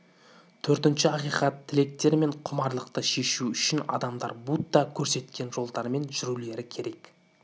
төртінші акиқат тілектер мен құмарлыкты шешу үшін адамдар будда көрсеткен жолдармен жүрулері керек